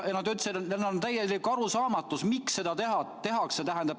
Nad ütlesid, et neil valitseb täielik arusaamatus, miks seda tehakse.